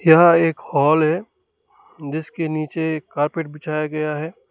यह एक हॉल है जिसके नीचे कारपेट बिछाया गया है।